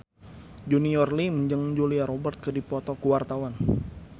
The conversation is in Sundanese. Junior Liem jeung Julia Robert keur dipoto ku wartawan